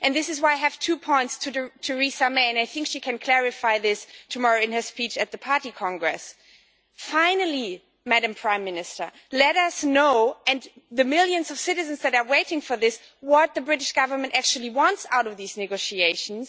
That is why I have two points to make to Theresa May, and I think she can clarify them tomorrow in her speech at the party congress Finally, Madam Prime Minister, let us, and the millions of citizens who are waiting for this, know what the British Government actually wants out of these negotiations.